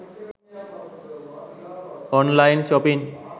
online shopping